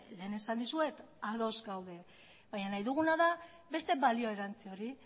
lehen esan dizuet ados gaudela baina nahi duguna da beste balio erantzi hori